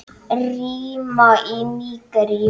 Rima í Nígeríu